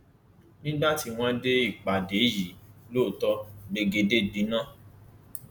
nígbà tí wọn dé ìpàdé yìí lóòótọ gbẹgẹdẹ gbiná